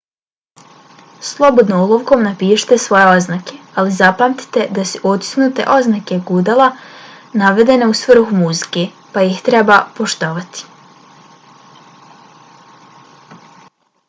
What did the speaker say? slobodno olovkom napišite svoje oznake ali zapamtite da su otisnute oznake gudala navedene u svrhu muzike pa ih treba poštovati